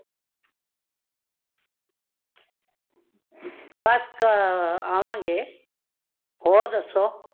ਬੱਸ ਆ ਆਵਾਂਗੇ। ਹੋਰ ਦੱਸੋ